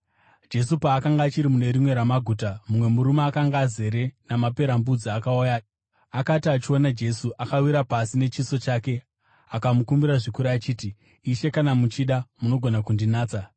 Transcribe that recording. Jesu paakanga achiri mune rimwe ramaguta, mumwe murume akanga azere namaperembudzi akauya. Akati achiona Jesu, akawira pasi nechiso chake akamukumbira zvikuru achiti, “Ishe, kana muchida, munogona kundinatsa.”